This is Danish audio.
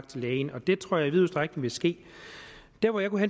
til lægen og det tror jeg i vid udstrækning vil ske der hvor jeg kunne